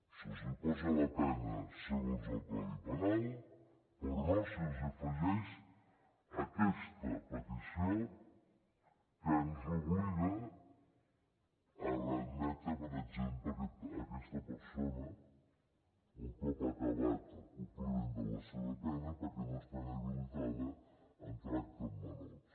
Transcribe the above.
se’ls posa la pena segons el codi penal però no se’ls afegeix aquesta petició que ens obliga a readmetre per exemple aquesta persona un cop acabat el compliment de la seva pena perquè no està inhabilitada en tracte amb menors